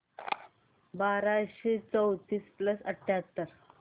बाराशे चौतीस प्लस अठ्याहत्तर